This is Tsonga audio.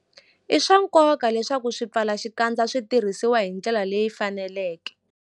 I swa nkoka leswaku swipfalaxikandza swi tirhisiwa hi ndlela leyi faneleke.